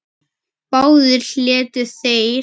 Báðir létu þeir